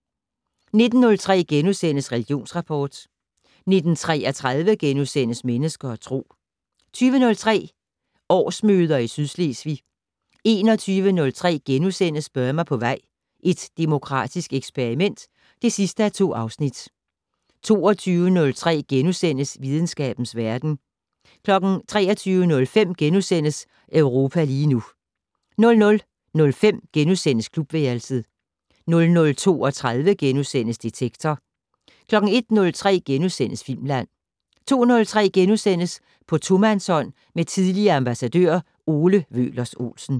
19:03: Religionsrapport * 19:33: Mennesker og Tro * 20:03: Årsmøder i Sydslesvig 21:03: Burma på vej - et demokratisk eksperiment (2:2)* 22:03: Videnskabens verden * 23:05: Europa lige nu * 00:05: Klubværelset * 00:32: Detektor * 01:03: Filmland * 02:03: På tomandshånd med tidligere ambassadør Ole Wøhlers Olsen *